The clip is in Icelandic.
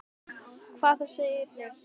Hvað, það segir enginn neitt.